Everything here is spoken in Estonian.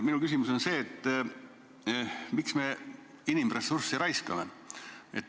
Minu küsimus on, et miks me inimressurssi raiskame.